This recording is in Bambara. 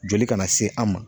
Joli kana se an ma.